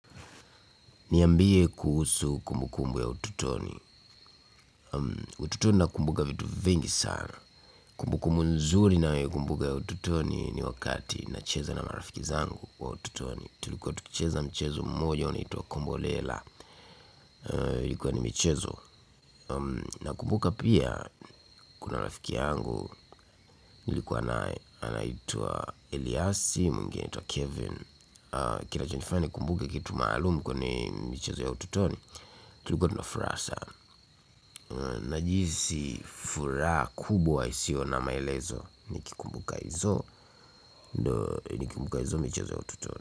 Niambie kuhusu kumbukumbu ya utotoni. Utotoni ninakumbuka vitu vingi sana. Kumbukumbu nzuri ninayoikumbuka ya ututoni ni wakati ninacheza na marafiki zangu wa ututoni. Tulikuwa tukicheza mchezo mmojo unaoitwa kombolela ilikuwa ni michezo. Ninakumbuka pia kuna rafiki yangu nilikuwa naye anaitwa Eliassi, mwingine anaitwa Kevin. Kinachonifanya nikumbuke kitu maalumu kwenye michezo ya utotoni tulikuwa tuna furaha sana najihisi furaha kubwa isiyo na maelezo. Nikikumbuka hizo nikikumbuka hizo michazo ya utotoni.